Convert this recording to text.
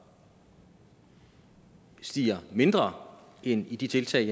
stiger mindre end i de tiltag